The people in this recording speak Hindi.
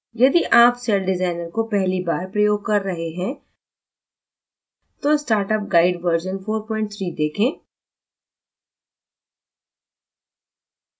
यदि आप सेल डिज़ाइनर को पहली बार प्रयोग कर रहे है तो startup guide version 43 देखें